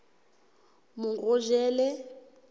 morojele